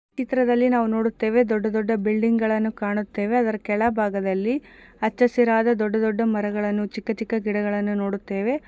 ಈ ಚಿತ್ರದಲ್ಲಿ ನಾವು ನೋಡುತ್ತೇವೆ ದೊಡ್ಡದೊಡ್ಡ ಬಿಲ್ಡಿಂಗ್ ಗಳನ್ನು ಕಾಣುತ್ತೇವೆ ಅದರ ಕೆಳಭಾಗದಲ್ಲಿ ಹಚ್ಚ ಹಸಿರಾದ ದೊಡ್ಡದೊಡ್ಡ ಮರಗಳನ್ನು ಚಿಕ್ಕ ಚಿಕ್ಕ ಗಿಡಗಳನ್ನು ನೋಡುತ್ತೇವೆ.